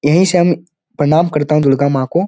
यही से हम प्रणाम करता हूँ दुर्गा माँ को ।